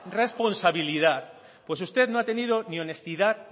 responsabilidad pues usted no ha tenido ni honestidad